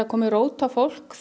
komið rót á fólk